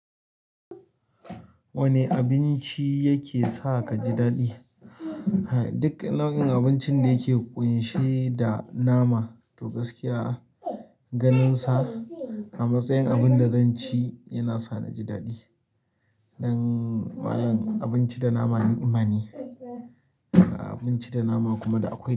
Wanne abinci yake sa ka ji daɗi? Duk nau'in abincin da yake ƙunshe da nama, to gaskiya ganinsa a matsayin abin da zan ci yana sa ni ji daɗi. Dan malam abinci da nama ni' imane, abinci da nama kuma da akwai.